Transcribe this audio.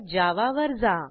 adminsectionजावा वर जा